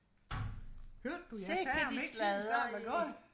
hørte du jeg sagde om ikke tiden snart var gået